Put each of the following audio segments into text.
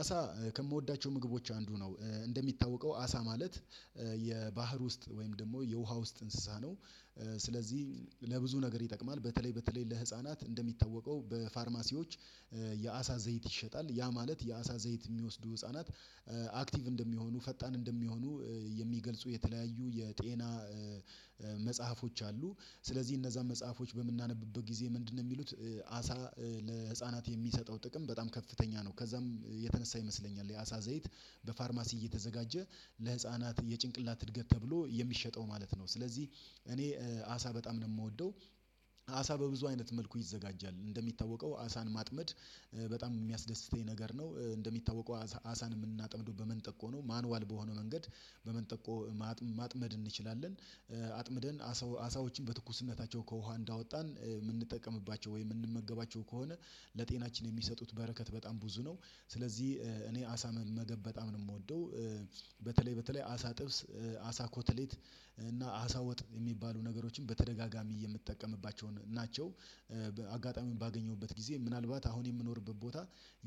አሳ ከምወዳቸው ምግቦች አንዱ ነው እንደሚታወቀው አሳ ማለት የባህር ውስጥ ወይም ደግሞ የውሃ ውስጥ እንስሳ ነው። ስለዚህ ለብዙ ነገር ይጠቅማል በተለይ በተለይ ለህፃናት እንደሚታወቀው በፋርማሲዎች የአሳ ዘይት ይሸጣል ያ ማለት የአሳ ዘይት ሚወስዱ ህፃናት አክቲቭ እንደሚሆኑ ፈጣን እንደሚሆኑ የሚገልጹ የተለያዩ የጤና መጽሐፎች አሉ። ስለዚህ እነዛን መጽሐፎች በምናነብበት ጊዜ ምንድን ነው ሚሉት? አሳ ለህፃናት የሚሰጠው ጥቅም በጣም ከፍተኛ ነው። ከዛም የተነሳ ይመስለኛል የአሳ ዘይት በፋርማሲ እየተዘጋጀ ለህፃናት የጭንቅላት እድገት ተብሎ የሚሸጠው ማለት ነው። ስለዚህ እኔ አሳ በጣም ነው የምወደው። አሳ በብዙ አይነት መልኩ ይዘጋጃል እንደሚታወቀው አሳን ማጥመድ በጣም የሚያስደስተኝ ነገር ነው። እንደሚታወቀው አሳን የምናጠምደው በመንጠቆ ነው ማኑዋል በሆነው መንገድ በመጠቆ ማጥመድ እንችላለን። አጥምደን አሳዎችን በትኩስነታቸው ከውሃ እንዳወጣን የምንጠቀምባቸው ወይ የምንመገባቸው ከሆነ ለጤናችን የሚሰጡት በረከት በጣም ብዙ ነው። ስለዚህ እኔ አሳ መመገብ በጣም ነው የምወደው። በተለይ በተለይ አሳ ጥብስ አሳ ኮትሌት እና አሳ ወጥ የሚባሉ ነገሮችን በተደጋጋሚ የምጠቀምባቸውን ናቸው። በአጋጣሚ ባገኘሁበት ጊዜ ምናልባት አሁን የምኖርበት ቦታ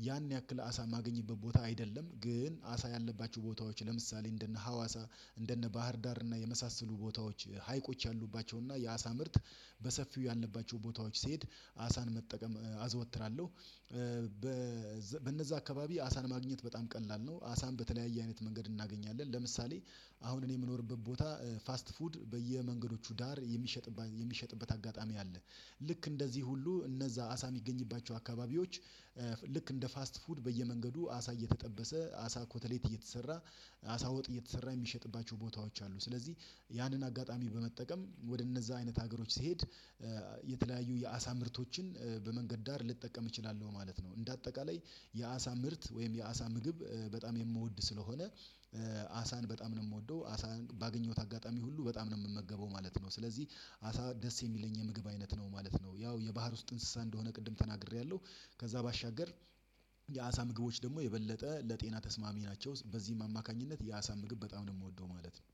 ያን ያክል አሳ ማገኝበት ቦታ አይደለም። ግን አሳ ያለባችሁ ቦታዎች ለምሳሌ እንደነ ሀዋሳ እንደነ ባህርዳር እና የመሳሰሉ ቦታዎች ሀይቆች ያሉባቸው እና የአሳ ምርት በሰፊው ያለባቸው ቦታዎች ሲሄድ አሳን መጠቀም አዘወትራለሁ። በነዛ አካባቢ አሳን ማግኘት በጣም ቀላል ነው። አሳን በተለያየ አይነት መንገድ እናገኛለን ለምሳሌ አሁን እኔ የምኖርበት ቦታ ፋስት ፉድ በየመንገዶቹ ዳር የሚሸጥበት የሚሸጥበት አጋጣሚ አለ። ልክ እንደዚህ ሁሉ እነዛ አሳ ሚገኝባቸው አካባቢዎች ልክ እንደ ፋስት ፉድ በየመንገዱ አሳ እየተጠበሰ አሳ ኮተሌት እየተሰራ አሳ ወጥ እየተሰራ የሚሸጥባቸው ቦታዎች አሉ። ስለዚህ ያንን አጋጣሚ በመጠቀም ወደ እነዛ አይነት ሀገሮች ሲሄድ የተለያዩ የአሳ ምርቶችን በመንገድ ዳር ልጠቀም እችላለሁ ማለት ነው። እንደ አጠቃላይ የአሳ ምርት ወይም የአሳ ምግብ በጣም የምወድ ስለሆነ። አሳን በጣም ነው የምወደው አሳን ባገኘሁት አጋጣሚ ሁሉ በጣም ነው የምመገበው ማለት ነው። ስለዚህ አሳ ደስ የሚለኝ የምግብ አይነት ነው ማለት ነው። ያው የባህር ውስጥ እንስሳ እንደሆነ ቅድም ተናግሬያለሁ። ከዛ ባሻገር የአሳ ምግቦች ደግሞ የበለጠ ለጤና ተስማሚ ናቸው። በዚህ አማካኝነት የአሳ ምግብ በጣም ነው የምወደው ማለት ነው።